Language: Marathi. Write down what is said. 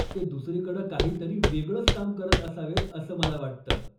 ते दुसरीकडं काहीतरी वेगळंच काम करत असावेत असं मला वाटतं.